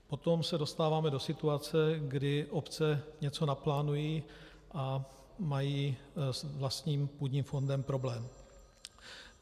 Potom se dostáváme do situace, kdy obce něco naplánují a mají s vlastním půdním fondem problém.